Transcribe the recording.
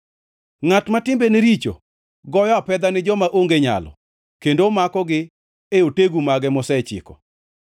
Ngʼat ma timbene richo goyo apedha ni joma onge nyalo kendo omakogi e otegu mage mosechiko.